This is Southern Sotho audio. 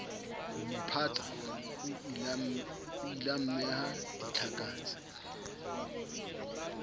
homo phatsa o ileammeha ditlhakatse